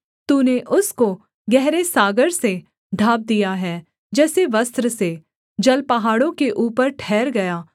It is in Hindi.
तूने उसको गहरे सागर से ढाँप दिया है जैसे वस्त्र से जल पहाड़ों के ऊपर ठहर गया